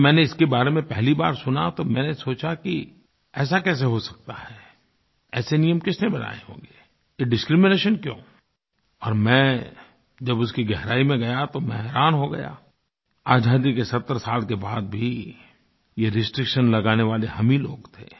जब मैंने इसके बारे में पहली बार सुना तो मैंने सोचा कि ऐसा कैसे हो सकता है ऐसे नियम किसने बनाए होंगें ये डिस्क्रिमिनेशन क्यों और मैं जब उसकी गहराई में गया तो मैं हैरान हो गया आजादी के सत्तर 70 साल के बाद भी ये रिस्ट्रिक्शन लगाने वाले हम ही लोग थे